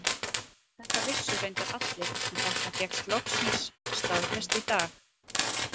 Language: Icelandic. Þetta vissu reyndar allir en þetta fékkst loksins staðfest í dag.